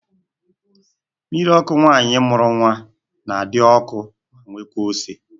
Mmiri ọkụ nwaanyị mụrụ nwa na-adị ọkụ ma nwekaa ose